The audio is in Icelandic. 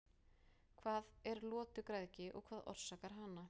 hvað er lotugræðgi og hvað orsakar hana